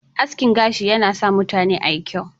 Askin gashi na sa mutane ayi kyau.